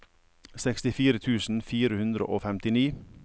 sekstifire tusen fire hundre og femtini